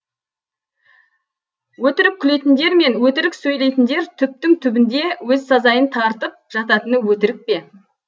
өтірік күлетіндер мен өтірік сөйлейтіндер түптің түбінде өз сазайын тартып жататыны өтірік пе